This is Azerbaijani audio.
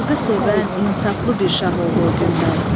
Xalqı sevən, insaflı bir şah oldu o gündən.